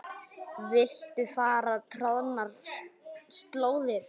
Viltu fara troðnar slóðir?